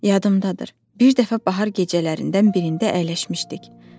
Yadımdadır, bir dəfə bahar gecələrindən birində əyləşmişdik.